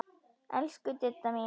Elsku Didda mín.